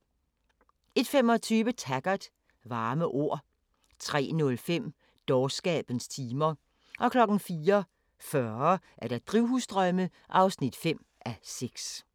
01:25: Taggart: Varme ord 03:05: Dårskabens timer 04:40: Drivhusdrømme (5:6)